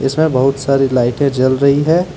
बहुत सारी लाइटें जल रही है।